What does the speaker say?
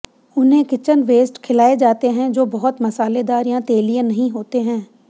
उन्हें kitchen waste खिलाए जाते हैं जो बहुत मसालेदार या तेलीय नहीं होते हैं